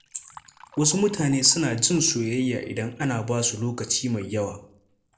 Wasu mutane suna jin soyayya idan ana ba su lokaci mai yawa.